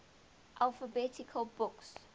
alphabet books